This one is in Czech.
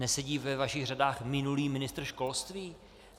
Nesedí ve vašich řadách minulý ministr školství?